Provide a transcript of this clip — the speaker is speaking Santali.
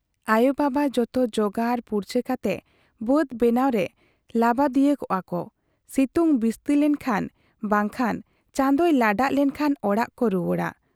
ᱟᱭᱚ ᱵᱟᱵᱟᱵ ᱡᱚᱛᱚ ᱡᱚᱜᱟᱲ ᱯᱩᱨᱪᱟᱹ ᱠᱟᱛᱮ ᱵᱟᱹᱫᱽ ᱵᱮᱱᱟᱣ ᱨᱮ ᱞᱟᱹᱵᱟᱫᱤᱭᱟᱹᱣ ᱠᱚᱜ ᱟ ᱠᱚ ᱥᱤᱛᱩᱝ ᱵᱤᱥᱛᱤᱞᱮᱱ ᱠᱷᱟᱱ ᱵᱟᱝ ᱠᱦᱟᱱ ᱪᱟᱸᱫᱚᱭ ᱞᱟᱰᱟᱜ ᱞᱮᱱᱠᱷᱟᱱ ᱚᱲᱟᱜ ᱠᱚ ᱨᱩᱣᱟᱹᱲᱟ ᱾